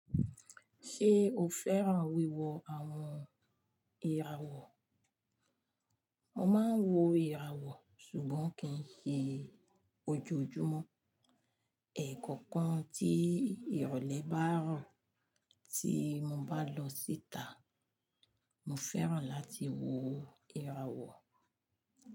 Ṣé o fẹ́ràn wíwo àwon ìràwọ̀? Mo máa ń wo ìràwọ̀ ṣùgbọ́n kì í ṣe ojoojúmọ́. Ẹ̀ẹ̀kọ̀kan tí ìrọ̀lẹ́ bá rọ̀ tí mo bá lọ síta, mo fẹ́ràn láti wo ìràwọ̀.